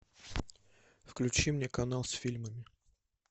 включи мне канал с фильмами